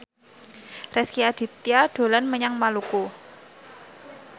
Rezky Aditya dolan menyang Maluku